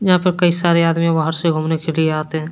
यहां पर कई सारे आदमी बाहर से घूमने के लिए आते--